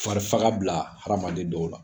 Fari faga bila hadamaden dɔw la.